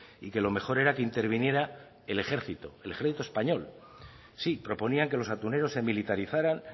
y que lo mejor era que interviniera el ejército el ejército español sí proponían que los atuneros se militarizaran